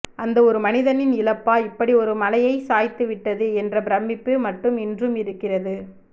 அந்த ஒரு மனிதனின் இழப்பா இப்படி ஒரு மலையைச் சாய்த்துவிட்டது என்ற பிரமிப்பு மட்டும் இன்றும் இருக்கிறது